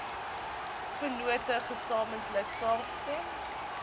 vennote gesamentlik saamgestem